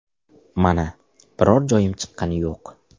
Mana, biror joyim chiqqani yo‘q.